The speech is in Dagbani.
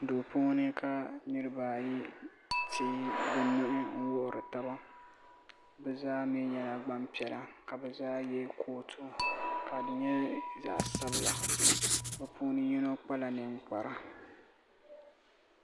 Duu puuni ka niriba ayi teegi bɛ nuu n wuhiri taba bɛ zaa mee nyɛla gbampiɛla ka bɛ zaa ye kootu ka di nyɛ zaɣa sabila bɛ puuni yino kpala ninkpara.